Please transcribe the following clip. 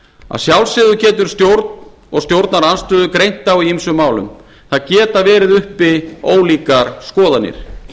að sjálfsögðu getur stjórn og stjórnarandstöðu greint á í ýmsum málum það geta verið uppi ólíkar skoðanir